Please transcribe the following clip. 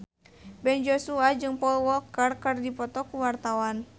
Ben Joshua jeung Paul Walker keur dipoto ku wartawan